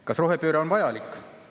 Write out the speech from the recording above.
Kas rohepööre on vajalik?